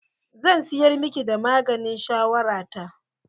Zan siyar miki da maganin shawara ta.